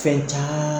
Fɛn caman